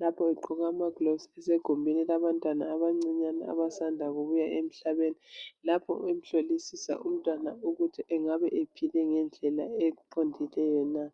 Lapho egqoka amagilovisi esegumbini labantwana abancane abasanda kubuya emhlabeni. Lapho emhlolisisa umntwana ukuba engabe ephile ngendlela eqondileyo na